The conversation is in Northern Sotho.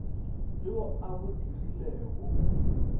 yo a a bo dirilego